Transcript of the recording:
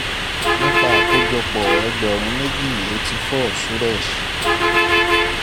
nípa àkójọpọ̀ ẹgbẹ̀rún méjì eighty four suresh